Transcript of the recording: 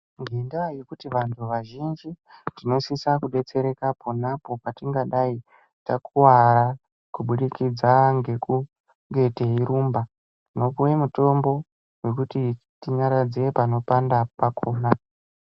Ngendaa yekuti vanhu vazhinji tinosisa kudetsereka ponapo patingadai takuwara kubudikidza ngekunge teirumba tinopuwe mutombo wekuti tinyaradze panopanda pakhona.